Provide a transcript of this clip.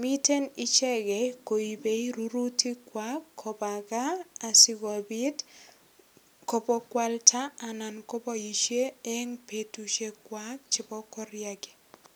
Mitei ichegei koipei rurutikwak koba kaa asikopit kobo kwalda anan kopoisie eng betusiekwak chebo koriagi.